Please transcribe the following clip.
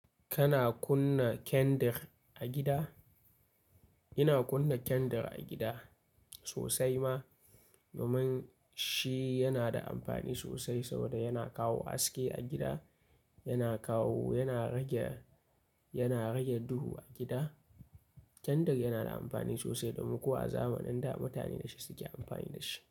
Kana kunna kyandir a gida? Ina kunna kyandir a gida sosai ma, domin shi yana da amfani sosai saboda yana kawo haske a gida, yana kawo, yana rage, yana rage duhu a gida. Kyandir yana da amfani sosai domin ko a zamanin da mutane da shi suke amfani da shi.